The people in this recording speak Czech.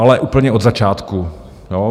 Ale úplně od začátku.